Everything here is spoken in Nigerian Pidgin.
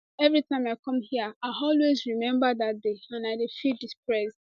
any time i come hia i always remember dat day and i dey feel depressed